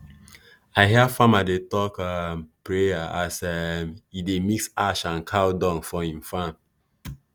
i hear farmer dey talk um prayer as um e dey mix ash and cow dung for im farm.